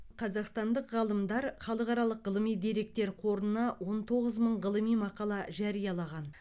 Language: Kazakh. қазақстандық ғалымдар халықаралық ғылыми деректер қорына он тоғыз мың ғылыми мақала жариялаған